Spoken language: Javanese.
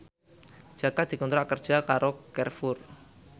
Jaka dikontrak kerja karo Carrefour